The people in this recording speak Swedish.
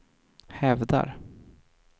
hävdar